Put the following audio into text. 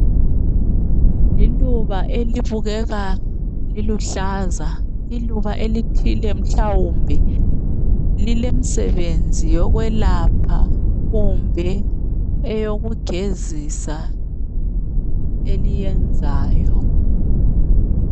Liluba elibukeka liluhlaza. Iluba elithile, mhlawumbe lilemsebenzi yokwelapha kumbe eyokugezisa eliyenzayo.